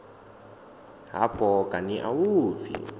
hafho kani a u pfi